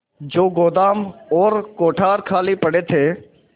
जो गोदाम और कोठार खाली पड़े थे